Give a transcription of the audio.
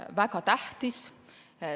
Väga tähtis.